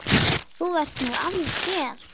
Þú ert nú alger!